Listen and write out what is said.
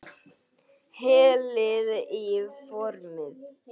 Hellið í formið.